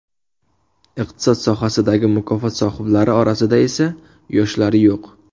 Iqtisod sohasidagi mukofot sohiblari orasida esa yoshlari yo‘q.